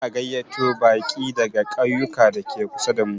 Za a gayyato baƙi daga ƙauyuka dake kusa damu.